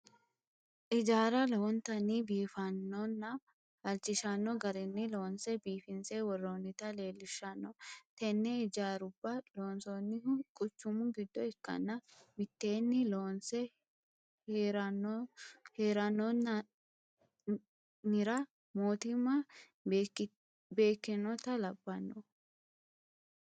Ijaarra lowontanni biifannonna halchishanno garinni loonse biifinse worroonnita leellishshanno. Tenne ijaarubba loonsoonnihu quchumu giddo ikkanna mitteenni loonse heerannoannira mootimma beekkinota labbanno.